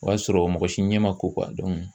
O y'a sɔrɔ mɔgɔ si ɲɛ ma ko